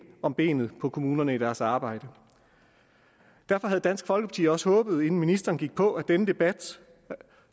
om benet på kommunerne i deres arbejde derfor havde dansk folkeparti også håbet inden ministeren gik på at denne debat